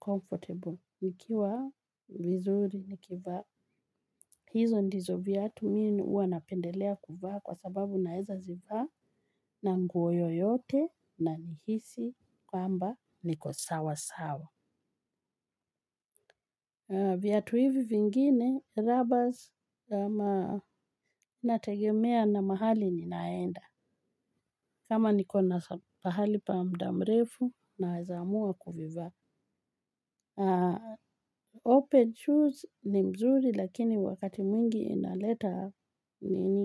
comfortable nikiwa vizuri nikivaa hizo ndizo viatu mimi huwa napendelea kuvaa kwa sababu naweza zivaa na nguo yoyote na nihisi kwamba niko sawa sawa. Viatu hivi vingine, rubbers nategemea na mahali ninaenda, kama niko na pahali pa mudamrefu na weza amua kuvivaa. Open shoes ni nzuri lakini wakati mwingi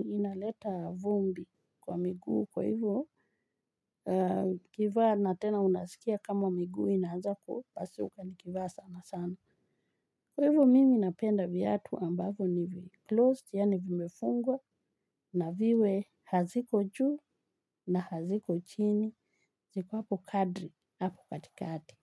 inaleta vumbi kwa miguu kwa hivyo kivaa na tena unasikia kama miguu inaanza kupasuka ni kivaa sana sana. Kwa hivyo mimi napenda viatu ambavyo ni vi-closed, yani vimefungwa, na viwe haziko juu na haziko chini, ziko hapo kadri, hapo katikati.